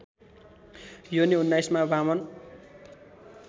योनी उन्नाइसमा वामन